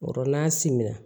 O yɔrɔ n'a siminna